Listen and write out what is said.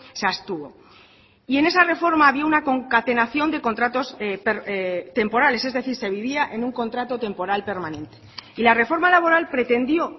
se abstuvo y en esa reforma había una concatenación de contratos temporales es decir se vivía en un contrato temporal permanente y la reforma laboral pretendió